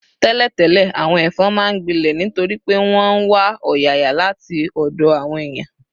Tẹ́lẹ̀tẹ́lẹ̀, àwọn ẹ̀fọn máa ń gbilẹ̀ nítorí pé wọ́n ń wá ọ̀yàyà láti ọ̀dọ̀ àwọn èèyàn